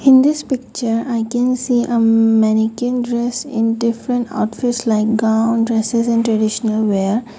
in this picture i can see a umm mannequin dress in different outfits like gown dresses and traditional wear.